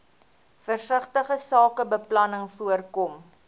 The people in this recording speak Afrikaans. versigtige sakebeplanning voorkom